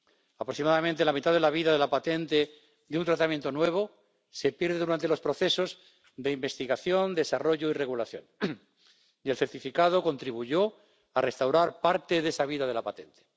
Aproximadamente la mitad de la vida de la patente de un tratamiento nuevo se pierde durante los procesos de investigación, desarrollo y regulación, y el certificado contribuyó a restaurar parte de esa vida de la patente.